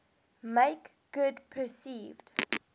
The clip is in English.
make good perceived